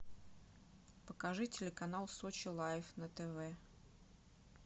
покажи телеканал сочи лайф на тв